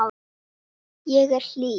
Ég er hlý.